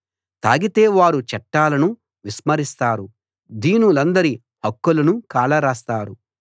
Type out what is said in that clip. తాగితే వారు చట్టాలను విస్మరిస్తారు దీనులందరి హక్కులనూ కాలరాస్తారు